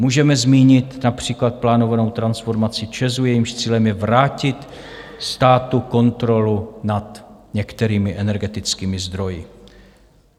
Můžeme zmínit například plánovanou transformací ČEZu, jejímž cílem je vrátit státu kontrolu nad některými energetickými zdroji.